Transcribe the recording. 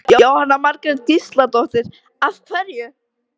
Jóhanna Margrét Gísladóttir: Af hverju?